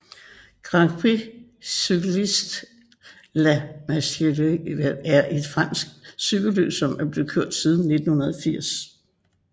Grand Prix Cycliste la Marseillaise er et fransk cykelløb som er blevet kørt siden 1980